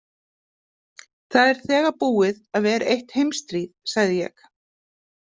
Það er þegar búið að vera eitt heimsstríð, sagði ég.